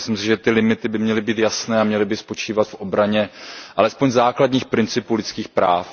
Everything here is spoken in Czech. Myslím si, že ty limity by měly být jasné a měly by spočívat v obraně alespoň základních principů lidských práv.